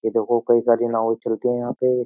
ये देखो कई सारी नाव चलती हैं यहां पे।